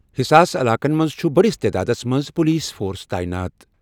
حساس علاقن منٛز چُھ بٔڑِس تعدادَس منٛز پولیس فورس تعینات۔